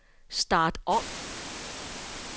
start om